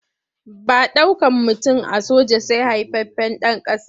Ba ɗaukan mutum a soja sai haifaffen ɗan ƙasa.